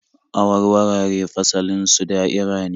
Awarwaraye fasalin su da'ira ne